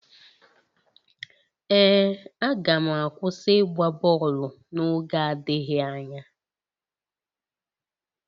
Ee, aga m akwụsị ịgba bọọlụ n'oge adịghị anya.